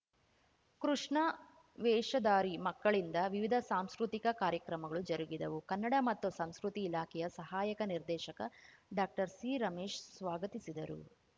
ಕೃಷ್ಣ ವೇಷಧಾರಿ ಮಕ್ಕಳಿಂದ ವಿವಿಧ ಸಾಂಸ್ಕೃತಿಕ ಕಾರ್ಯಕ್ರಮಗಳು ಜರುಗಿದವು ಕನ್ನಡ ಮತ್ತು ಸಂಸ್ಕೃತಿ ಇಲಾಖೆಯ ಸಹಾಯಕ ನಿರ್ದೇಶಕ ಡಾಕ್ಟರ್ ಸಿರಮೇಶ್‌ ಸ್ವಾಗತಿಸಿದರು